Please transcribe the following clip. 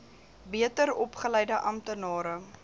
beter opgeleide amptenare